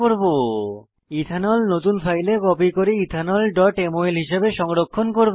ethanol ethanol নতুন ফাইলে copy করে etheneমল হিসাবে সংরক্ষণ করব